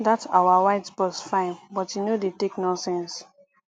dat our white boss fine but e no dey take nonsense